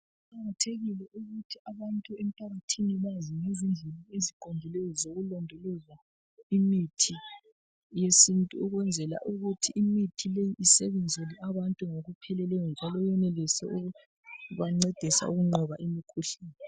Kuqakathekile ukuthi abantu emphakathini bazi ngezindlela eziqondileyo, zokulondoloza imithi yesintu. Ukwenzela ukuthi imithi le, isebenzele abantu ngokupheleleyo, njalo iyenelise ukubancedise ukunqoba imikhuhlane.